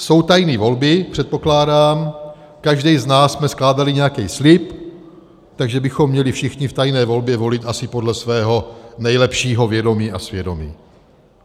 Jsou tajné volby, předpokládám, každý z nás jsme skládali nějaký slib, takže bychom měli všichni v tajné volbě volit asi podle svého nejlepšího vědomí a svědomí.